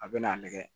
A bɛ n'a lajɛ